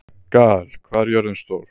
Gael, hvað er jörðin stór?